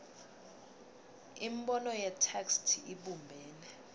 imibono yetheksthi ibumbene